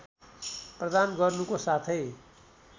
प्रदान गर्नुको साथै